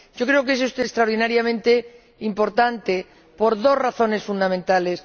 Creo que esto es extraordinariamente importante, por dos razones fundamentales.